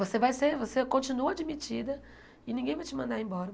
Você vai ser, você continua admitida e ninguém vai te mandar embora.